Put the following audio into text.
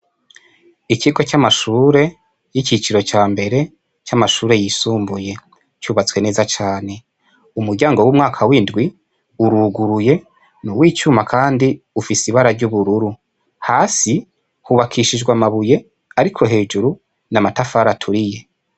Ikigo c'amashure y'icicaro cambere c'amashure yisumbuye cubatswe neza cane. Umuryango wo mu mwaka w'indwi uruguruye, ni uw'icuma kandi ufise ibara ry'ubururu. Hasi hubakishijwe amabuye ariko hejuru ni amatafari aturiye.